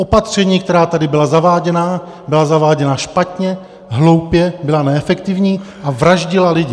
Opatření, která tady byla zaváděna, byla zaváděna špatně, hloupě, byla neefektivní a vraždila lidi.